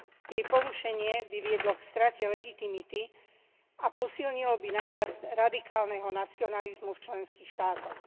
Jej porušenie by viedlo k strate legitimity a posilnilo by nárast radikálneho nacionalizmu v členských štátoch.